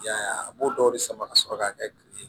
I y'a ye a b'o dɔw de sama ka sɔrɔ k'a kɛ